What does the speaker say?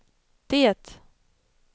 det